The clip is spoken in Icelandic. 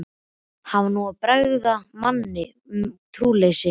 Hann var nú að bregða manni um trúleysi.